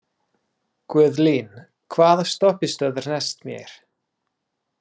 Guðlín, hvaða stoppistöð er næst mér?